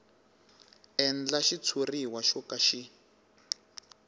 endlaka xitshuriwa xo ka xi